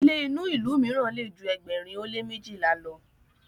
ilé inu ilú míràn lè jù ẹgbẹrin o le mejila ló